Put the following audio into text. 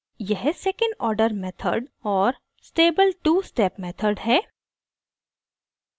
यह second order method और stable two step method है